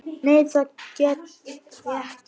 Nei það get ég ekki.